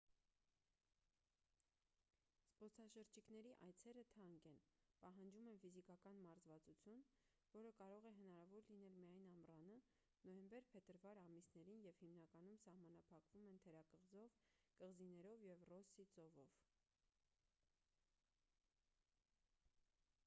զբոսաշրջիկների այցերը թանկ են պահանջում են ֆիզիկական մարզվածություն որը կարող է հնարավոր լինել միայն ամռանը նոյեմբեր-փետրվար ամիսներին և հիմնականում սահմանափակվում են թերակղզով կղզիներով և ռոսսի ծովով